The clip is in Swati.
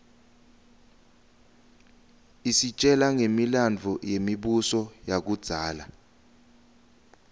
isitjela ngemilandvo yemibuso yakudzala